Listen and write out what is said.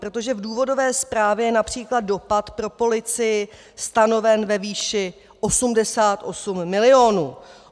Protože v důvodové zprávě je například dopad pro policii stanoven ve výši 88 milionů.